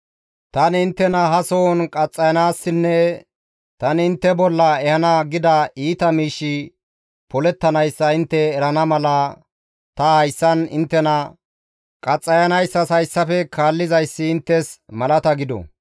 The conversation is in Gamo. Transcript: «Tani inttena ha sohon qaxxayanaassinne tani intte bolla ehana gida iita miishshi polettanayssa intte erana mala ta hayssan inttena qaxxayanayssas hayssafe kaallizayssi inttes malata gido.